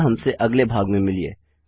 अतः हमसे अगले भाग में मिलिए